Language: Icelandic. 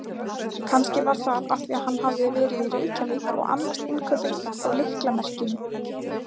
Kannski var það af því hann hafði verið í Reykjavík og annast innkaupin á lyklamerkjunum.